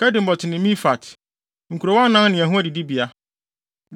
Kedemot ne Mefaat—nkurow anan ne wɔn adidibea.